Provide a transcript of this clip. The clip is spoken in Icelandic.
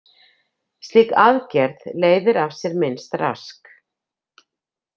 Slík „aðgerð“ leiðir af sér minnst rask.